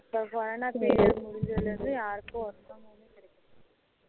இந்த corona period முடிஞ்சதுள இருந்து யாருக்கும் ஒருத்தங்களுக்கும் கிடைக்கல